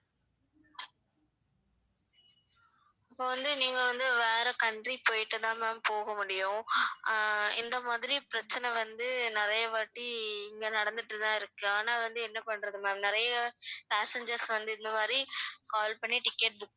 இப்ப வந்து நீங்க வந்து வேற country போயிட்டு தான் ma'am போக முடியும் ஆஹ் இந்த மாதிரி பிரச்சனை வந்து நிறைய வாட்டி இங்க நடந்துட்டு தான் இருக்கு ஆனா வந்து என்ன பண்றது ma'am நறைய passengers வந்து இந்த மாதிரி call பண்ணி ticket book